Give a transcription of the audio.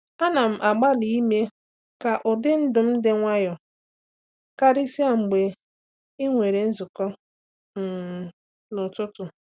Ana m agbalị ime ka ụdị ndụ m dị nwayọọ, karịsịa mgbe ị nwere nzukọ um n'ụtụtụ.